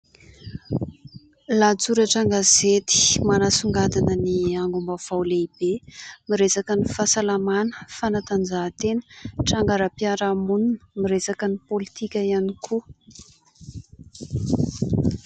Lahatsoratra an-gazety manasongadina ny angom-baovao lehibe. Miresaka ny fahasalamana, ny fanatanjahantena, trangaram-piarahamonina, miresaka ny politika ihany koa.